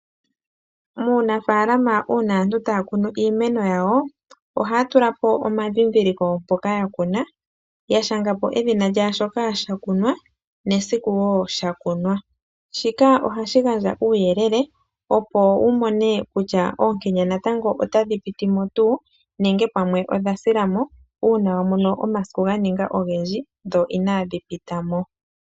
Muunafalama uuna aantu taa kunu iimeno yawo ohaa tula po omadhidhiliko mpoka ya kuna ya sha nga po edhina lyashoka sha kunwa nesiku woo sha kunwa shikanohashi gandja uuyelele opo wu mone kutya oonkenya otadhi piti ngaa nenge odha sila mo uuna wa mono omasiku ga ninga ogendji dho inaadhi pita mo.